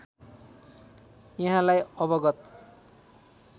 यहाँलाई अवगत